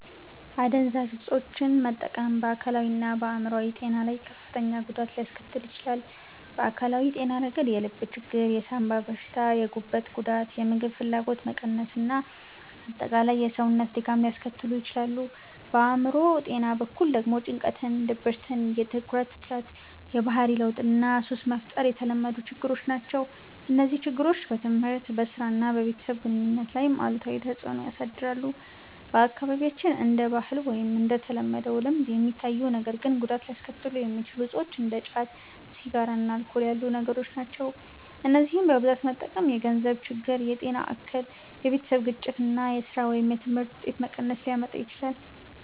**"አደንዛዥ እፆችን መጠቀም በአካላዊና በአእምሮአዊ ጤና ላይ ከፍተኛ ጉዳት ሊያስከትል ይችላል። በአካላዊ ጤና ረገድ የልብ ችግር፣ የሳንባ በሽታ፣ የጉበት ጉዳት፣ የምግብ ፍላጎት መቀነስ እና አጠቃላይ የሰውነት ድካም ሊያስከትሉ ይችላሉ። በአእምሮ ጤና በኩል ደግሞ ጭንቀት፣ ድብርት፣ የትኩረት እጥረት፣ የባህሪ ለውጥ እና ሱስ መፍጠር የተለመዱ ችግሮች ናቸው። እነዚህ ችግሮች በትምህርት፣ በሥራ እና በቤተሰብ ግንኙነት ላይም አሉታዊ ተጽዕኖ ያሳድራሉ። በአካባቢያችን እንደ ባህል ወይም እንደ ተለመደ ልምድ የሚታዩ ነገር ግን ጉዳት ሊያስከትሉ የሚችሉ እፆች እንደ ጫት፣ ሲጋራ እና አልኮል ያሉ ነገሮች ናቸው። እነዚህን በብዛት መጠቀም የገንዘብ ችግር፣ የጤና እክል፣ የቤተሰብ ግጭት እና የሥራ ወይም የትምህርት ውጤት መቀነስ ሊያመጣ ይችላል።